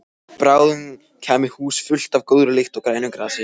Bráðum kæmi hús fullt af góðri lykt og grænu grasi.